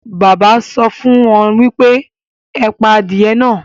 Bàbá à mi sọ fún wọn pé; ẹ pa adìye náà